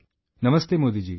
Namaste Modi ji